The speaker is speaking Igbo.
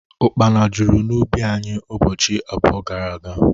Ukpana jụrụ n'ubi anyị ụbọchị abụọ gara aga